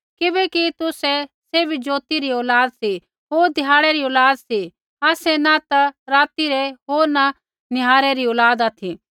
किबैकि तुसै सैभै ज्योति री औलाद सी होर ध्याड़ै री औलाद सी आसै न ता राती रै होर न निहारै री औलाद ऑथि